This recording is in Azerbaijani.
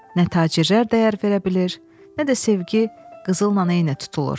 Nə tacirlər dəyər verə bilər, nə də sevgi qızılla eyni tutulur.